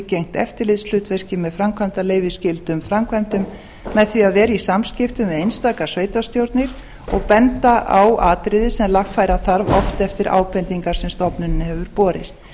gegnt eftirlitshlutverki með framkvæmdaleyfi skyldum framkvæmdum með því að vera í samskiptum við einstaka sveitarstjórnir og benda á atriði sem lagfæra þarf oft eftir ábendingar sem stofnuninni hefur borist